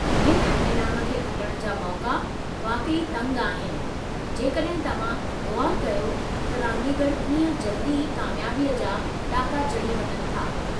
हिन इनामु खे खुटणु जा मौक़ा वाक़ई तंगि आहिनि जेकॾहिं तवहां ग़ौरु कयो त रांदीगरु कीअं जल्दी ई कामयाबी जा ॾाका चढ़ी वञनि था।